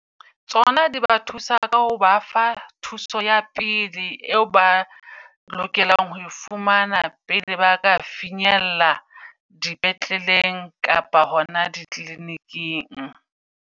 Tsona di ba thusa ka ho ba fa thuso ya pele eo ba lokelang ho fumana. Pele ba ka finyella di petleleng kapa hona di clinic-ing.